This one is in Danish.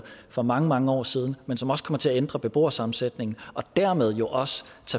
for mange mange år siden men som også kommer til at ændre beboersammensætningen og dermed jo også